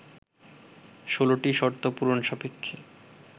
১৬টি শর্ত পূরণ সাপেক্ষে